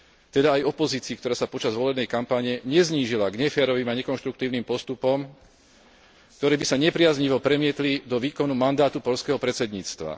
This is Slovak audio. Teda aj opozícii, ktorá sa počas volebnej kampane neznížila k neférovým a nekonštruktívnym postupom, ktoré by sa nepriaznivo premietli do výkonu mandátu poľského predsedníctva.